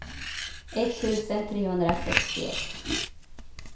etttusen trehundrasextioett